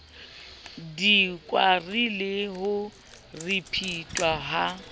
dikwari le ho ripitlwa ha